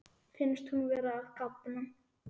Finnst hún vera að kafna.